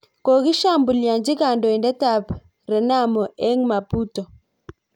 Kogishambulianchi kandoindet ab Renamo eng Maputo